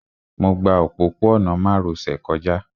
Mo gba òpópó-ọ̀nà márosẹ̀ kọjá